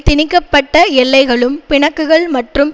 திணிக்க பட்ட எல்லைகளும் பிணக்குகள் மற்றும்